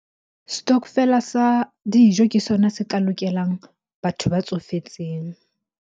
Stokvel-a sa dijo ke sona se ka lokelang batho ba tsofetseng.